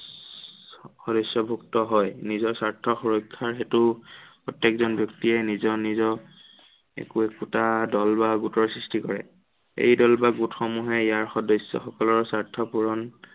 সদস্য়ভুক্ত হয়। নিজৰ স্বাৰ্থৰ সুৰক্ষাৰ হেতু প্ৰত্য়েকজন ব্য়ক্তিয়ে নিজৰ নিজৰ একো একোটা দল বা গোটৰ সৃষ্টি কৰে। এই দল বা গোটসমূহে ইয়াৰ সদস্য়সকলৰ স্বাৰ্থ পূৰণ